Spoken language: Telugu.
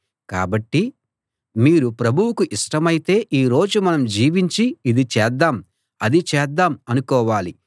కాబట్టి మీరు ప్రభువుకు ఇష్టమైతే ఈ రోజు మనం జీవించి ఇది చేద్దాం అది చేద్దాం అనుకోవాలి